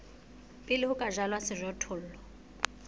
pele ho ka jalwa sejothollo